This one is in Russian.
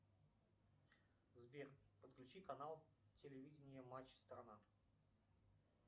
сбер подключи канал телевидение матч страна